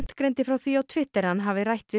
greindi frá því á Twitter að hann hefði rætt við